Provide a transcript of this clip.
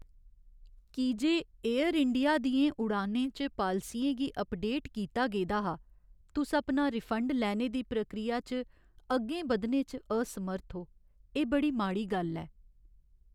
की जे एयरइंडिया दियें उड़ानें च पालसियें गी अपडेट कीता गेदा हा, तुस अपना रिफंड लैने दी प्रक्रिया च अग्गें बधने च असमर्थ ओ, एह् बड़ी माड़ी गल्ल ऐ।